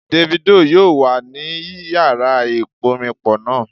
Davido yoo wa ni iyara iporinpo naa